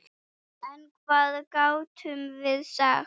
En hvað gátum við sagt?